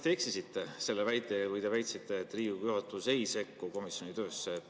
Te vist eksisite, kui te väitsite, et Riigikogu juhatus ei sekku komisjoni töösse.